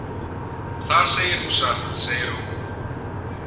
Það segir þú satt, segir hún.